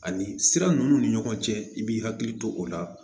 Ani sira ninnu ni ɲɔgɔn cɛ i b'i hakili to o la